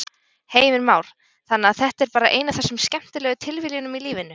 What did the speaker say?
Heimir Már: Þannig að þetta er bara ein af þessum skemmtilegu tilviljunum í lífinu?